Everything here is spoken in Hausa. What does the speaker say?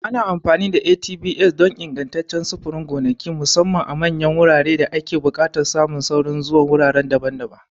Ana amfani da ATVs don ingantaccen sufurin gonaki, musamman a manyan wuraren da ake buƙatar samun saurin zuwa wurare daban-daban.